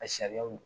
A sariyaw